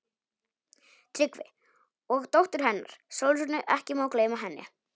TRYGGVI: Og dóttur hennar, Sólrúnu, ekki má gleyma henni.